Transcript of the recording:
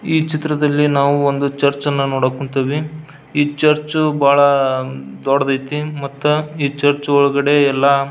ಈ ಚಿತ್ರದಲ್ಲಿ ನಾವು ಒಂದು ಚರ್ಚ್ ನೋಡಕ್ ಕುಂತೇವಿ ಈ ಚರ್ಚ್ ಬಹಳ ದೊಡ್ಡದೈತಿ ಮತ್ತ ಈ ಚರ್ಚ್ ಒಳಗಡೆ ಎಲ್ಲ --